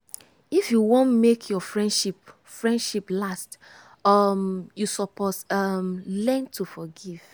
if you wan make your friendship friendship last um you suppose um learn to forgive.